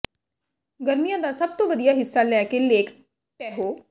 ਗਰਮੀਆਂ ਦਾ ਸਭ ਤੋਂ ਵਧੀਆ ਹਿੱਸਾ ਲੈ ਕੇ ਲੇਕ ਟੈਹੋ